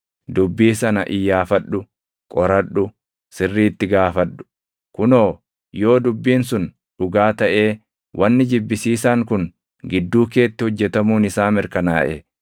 dubbii sana iyyaafadhu; qoradhu; sirriitti gaafadhu. Kunoo, yoo dubbiin sun dhugaa taʼee wanni jibbisiisaan kun gidduu keetti hojjetamuun isaa mirkanaaʼe,